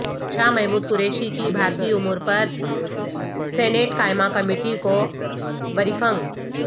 شاہ محمود قریشی کی بھارتی امور پر سینیٹ قائمہ کمیٹی کو بریفنگ